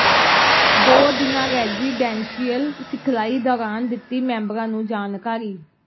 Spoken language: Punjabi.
ਦੋ ਦਿਨਾ ਰੈਜੀਡੈਂਸ਼ੀਅਲ ਸਿਖਲਾਈ ਦੌਰਾਨ ਦਿੱਤੀ ਮੈਂਬਰਾਂ ਨੂੰ ਜਾਣਕਾਰੀ